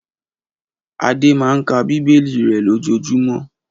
Adé máa ń ka Bíbélì rẹ̀ lójoojúmọ́.